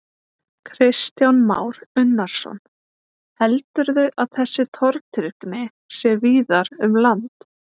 Kristján Már Unnarsson: Heldurðu að þessi tortryggni sé víðar um land?